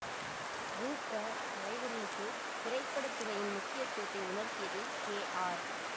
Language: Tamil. மு க தலைவர்களுக்கு திரைப்பட துறையின் முக்கியத்துவத்தை உணர்த்தியது கே ஆர்